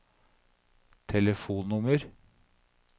telefonnummer